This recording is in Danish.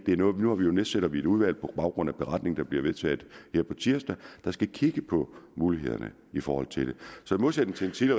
nedsætter vi et udvalg på baggrund af den beretning der bliver vedtaget her på tirsdag der skal kigge på mulighederne i forhold til det så i modsætning til til